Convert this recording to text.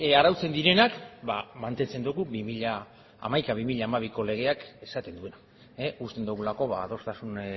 arautzen direnak ba mantentzen ditugu bi mila hamaika bi mila hamabiko legeak esaten duena uste dugulako adostasun